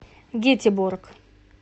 гетеборг